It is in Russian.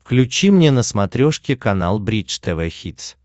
включи мне на смотрешке канал бридж тв хитс